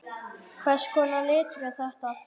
Hvers konar litur er þetta?